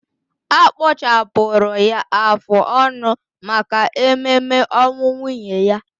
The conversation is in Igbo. Akpụchapụrụ ya afụ ọnụ maka ememe ọnwụ nwunye ya